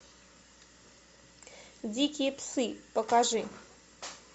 дикие псы покажи